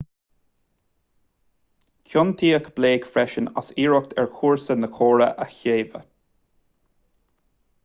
ciontaíodh blake freisin as iarracht ar chúrsa na córa a shaobhadh